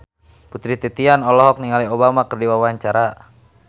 Putri Titian olohok ningali Obama keur diwawancara